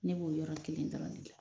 Ne b'o yɔrɔ kelen dɔrɔn de de la